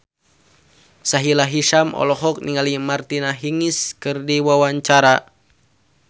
Sahila Hisyam olohok ningali Martina Hingis keur diwawancara